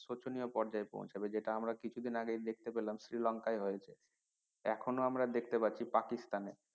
শোচনীয় পর্যায়ে পৌঁছাবে যেটা আমরা কিছুদিন আগেই দেখতে পেলাম শ্রীলংকায় হয়েছে এখনো আমরা দেখতে পাচ্ছি পাকিস্তান এ